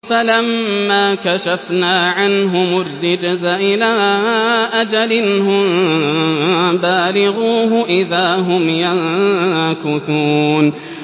فَلَمَّا كَشَفْنَا عَنْهُمُ الرِّجْزَ إِلَىٰ أَجَلٍ هُم بَالِغُوهُ إِذَا هُمْ يَنكُثُونَ